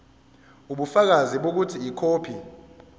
ubufakazi bokuthi ikhophi